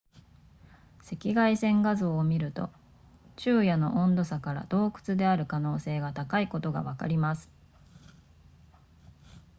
赤外線画像を見ると昼夜の温度差から洞窟である可能性が高いことがわかります